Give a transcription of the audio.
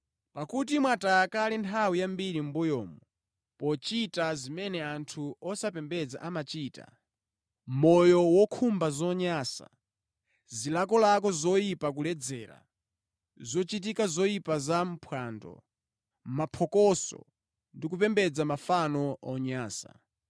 Pakuti mwataya kale nthawi yambiri mʼmbuyomu pochita zimene anthu osapembedza amachita, moyo wokhumba zonyansa, zilakolako zoyipa kuledzera, zochitika zoyipa za pa phwando, mapokoso ndi kupembedza mafano onyansa.